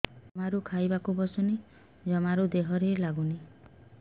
ଜମାରୁ ଖାଇବାକୁ ବସୁନି ଜମାରୁ ଦେହରେ ଲାଗୁନି